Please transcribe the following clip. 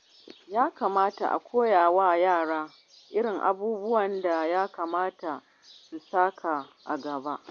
Yana da kyau a koya wa yara irin abubuwan da ya kamata su saka a gaba.